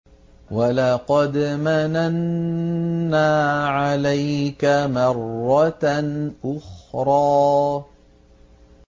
وَلَقَدْ مَنَنَّا عَلَيْكَ مَرَّةً أُخْرَىٰ